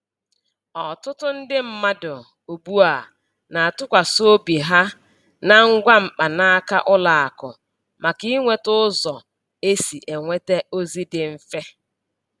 Ọtụtụ ndị mmadụ ugbu a na-atụkwasị obi ha na ngwa mkpanaka ụlọ akụ maka inweta ụzọ e si enweta ozi dị mfe.